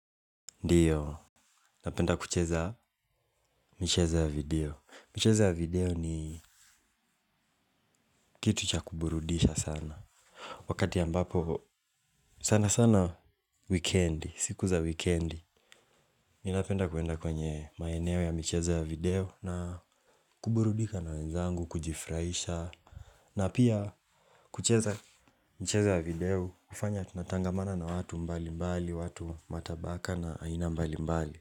Ndiyo, napenda kucheza michezo ya video, michezo ya video ni kitu cha kuburudisha sana. Wakati ambapo sanasana weekend, siku za weekend mi napenda kwenda kwenye maeneo ya michezo ya video na kuburudika na wenzangu, kujifurahisha. Na pia kucheza michezo ya video, hufanya tunatangamana na watu mbalimbali, watu matabaka na aina mbalimbali.